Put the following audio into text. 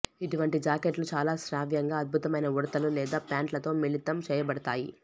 ఇటువంటి జాకెట్లు చాలా శ్రావ్యంగా అద్భుతమైన ఉడుతలు లేదా ప్యాంట్లతో మిళితం చేయబడతాయి